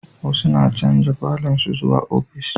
Wasu na chanja falon su zuwa ofis